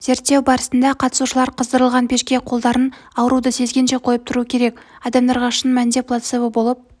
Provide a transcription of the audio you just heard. зерттеу барысында қатысушылар қыздырылған пешке қолдарын ауруды сезгенше қойып тұруы керек адамдарға шын мәнінде плацебо болып